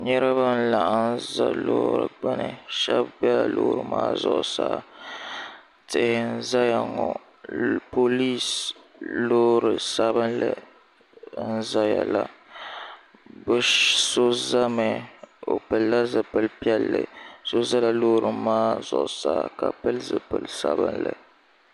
niriba n laɣim salo bɛ Lori ni shɛbi bɛla lori maa zuɣ' saa tihi n zaya ŋɔ polisi Lori sabinli n zaya la bɛ so zami o lila zibili piɛli so zala lori maa zuɣ' saa ka pɛli zibili sabinli